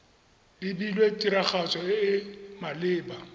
lebilwe tiragatso e e maleba